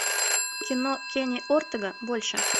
кино кенни ортега больше